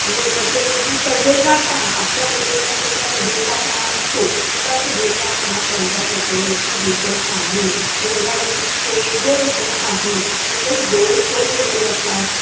म्हणजे त्वचेवरती तजेलदारपणा आपल्या त्वचेवरती जसा तजेलदारपणा असतो तसा तजेलदारपणा त्यांच्या त्वचेवरती दिसत नाही, चेहऱ्यावरती तेज दिसत नाही, तसंच डोळे खोल गेलेले असतात.